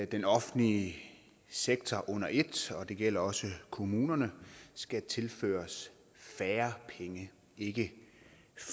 den offentlige sektor under et og det gælder også kommunerne skal tilføres færre penge ikke